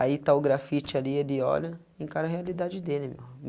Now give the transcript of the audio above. Aí está o grafite ali ele olha e encara a realidade dele irmão.